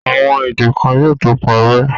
Àwọn èdè kan yóò tó parẹ́.